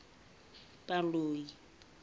baloi